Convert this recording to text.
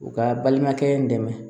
U ka balimakɛ dɛmɛ